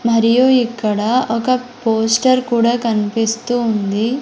మరియు ఇక్కడ ఒక పోస్టర్ కూడా కన్పిస్తూ ఉంది.